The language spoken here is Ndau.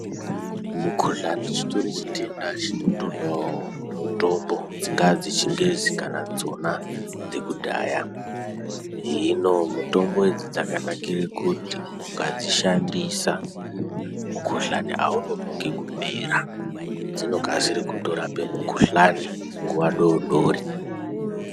Mukuhlani chitori chitenda chinotodawo mutombo. Dzingaa dzechingezi kana dzekudhaya. Hino mutombo idzi dzkakanakire kuti ukadzishandisa mukuhlani haunonoki kupera. Dzinokasire kutorape mukuhlani nguva doodori.